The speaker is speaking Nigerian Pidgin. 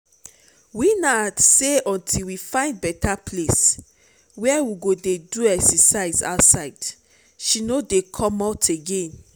winner say until we find better place where we go dey do exercise outside she no dey come out again